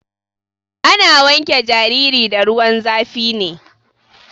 Ana wanke jariri da ruwan zafi ne.